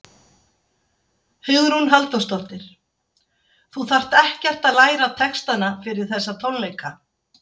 Hugrún Halldórsdóttir: Þú þarft ekkert að læra textana fyrir þessa tónleika?